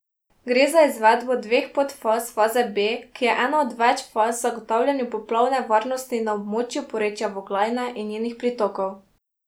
Gre za izvedbo dveh podfaz faze B, ki je ena od več faz v zagotavljanju poplavne varnosti na območju porečja Voglajne in njenih pritokov.